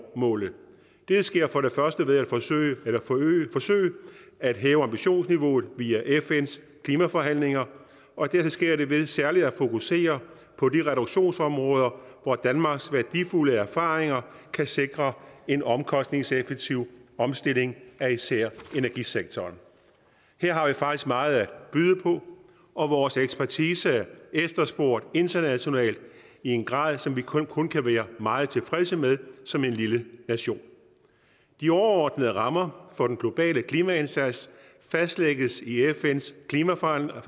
målet det sker for det første ved at forsøge at hæve ambitionsniveauet via fns klimaforhandlinger og dertil sker det ved særligt at fokusere på de reduktionsområder hvor danmarks værdifulde erfaringer kan sikre en omkostningseffektiv omstilling af især energisektoren her har vi faktisk meget at byde på og vores ekspertise er efterspurgt internationalt i en grad som vi kun kun kan være meget tilfredse med som en lille nation de overordnede rammer for den globale klimaindsats fastlægges i fns klimaforhandlinger